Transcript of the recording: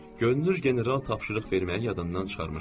Görünür general tapşırıq verməyi yadından çıxarmışdı.